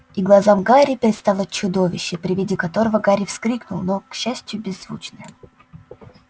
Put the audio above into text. и глазам гарри предстало чудовище при виде которого гарри вскрикнул но к счастью беззвучно